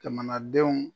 Jamanadenw